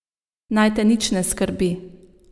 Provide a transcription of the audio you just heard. Naj te nič ne skrbi.